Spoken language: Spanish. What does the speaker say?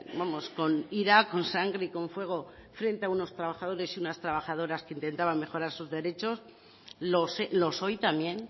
vamos con ira con sangre y con fuego frente a unos trabajadores y unas trabajadoras que intentaban mejorar sus derechos los hoy también